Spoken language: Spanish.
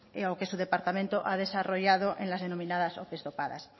o que su departamento ha desarrollado en las denominadas ope dopadas